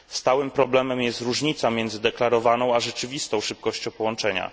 Stałym problemem jest różnica między deklarowaną a rzeczywistą szybkością połączenia.